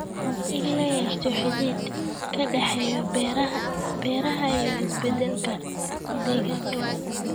In la yeesho xidhiidh ka dhexeeya beeraha iyo isbeddelka deegaanka.